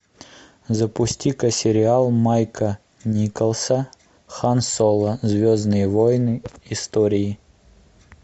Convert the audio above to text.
запустика сериала майка николса хан соло звездные войны истории